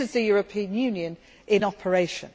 This is the European Union in operation.